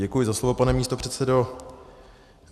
Děkuji za slovo, pane místopředsedo.